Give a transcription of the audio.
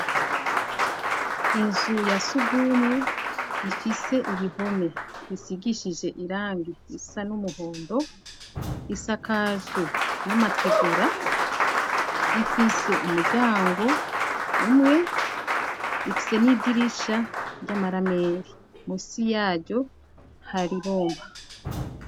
Inzu ya sugumwe ifise ibihome bisigishije irangi isa n'umuhondo isakajwe n'amategura ifise umuryango umwe ifise n'idirisha ry'amarameri musi yaryo hari ibumba.